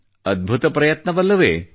ಅದ್ಭುತ ಪ್ರಯತ್ನವಲ್ಲವೇ